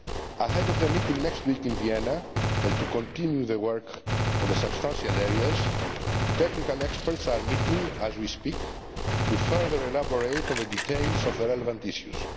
Ahead of the meeting next week in Vienna, and to continue the work on the substantial areas, technical experts are meeting, as we speak, to further elaborate on the details of the relevant issues.